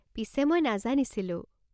পিছে মই নাজানিছিলোঁ।